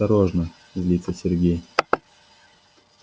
осторожно злится сергей